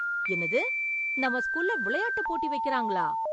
என்னது, நம்ம ஸ்கூல்ல விளையாட்டு போட்டி வைக்கறாங்களா!